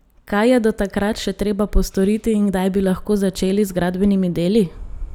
Kaj je do takrat še treba postoriti in kdaj bi lahko začeli z gradbenimi deli?